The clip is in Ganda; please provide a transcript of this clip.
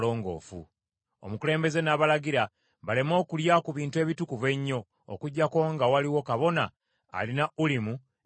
Omukulembeze n’abalagira baleme okulya ku bintu ebitukuvu ennyo, okuggyako nga waliwo kabona alina Ulimu ne Sumimu.